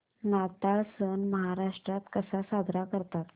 नाताळ सण महाराष्ट्रात कसा साजरा करतात